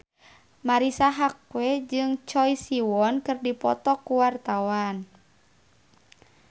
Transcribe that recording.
Marisa Haque jeung Choi Siwon keur dipoto ku wartawan